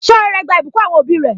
Ṣé ọrẹ rẹ gba ìbùkún àwọn òbí rẹ?